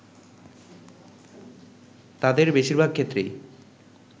তাদের বেশিরভাগ ক্ষেত্রেই